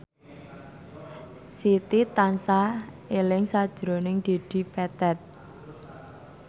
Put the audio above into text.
Siti tansah eling sakjroning Dedi Petet